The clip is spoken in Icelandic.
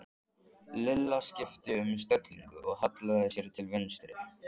Lilla skipti um stellingu og hallaði sér til vinstri.